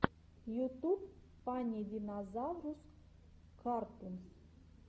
ютуб фанни динозаврус картунс